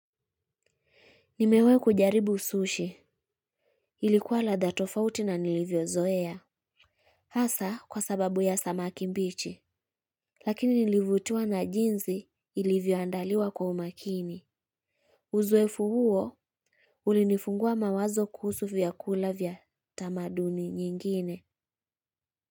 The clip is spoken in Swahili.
Nimewahi kujaribu sushi. Ilikuwa na ladha tofauti na nilivyozoea, hasa kwa sababu ya samaki mbichi, lakini nilivutiwa na jinsi ilivyoandaliwa kwa umakini. Uzoefu huo ulinifungua mawazo kuhusu vyakula vya tamaduni nyingine.